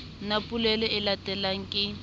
na polelo e latelang ke